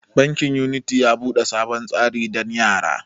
Bankin unity ya bude sabon tsari dan yara.